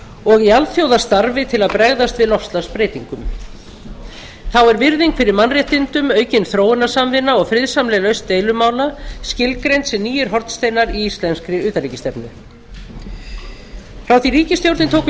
og í alþjóðastarfi til að bregðast við loftslagsbreytingum þá er virðing fyrir mannréttindum aukin þróunarsamvinna og friðsamleg lausn deilumála skilgreind sem nýir hornsteinar í íslenskri utanríkisstefnu frá því að ríkisstjórnin tók við